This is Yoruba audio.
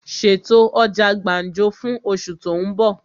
Ṣètò ọjà gbàǹjo fún osù tó ń bọ̀!